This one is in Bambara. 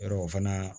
Yɔrɔ o fana